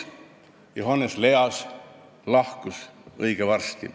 Johannes Leas lahkus kahjuks õige varsti.